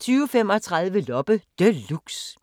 20:35: Loppe Deluxe